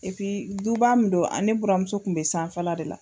du ba min don, ale buramuso tun bɛ sanfɛla de la.